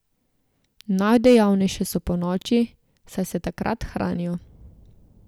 Najdejavnejše so ponoči, saj se takrat hranijo.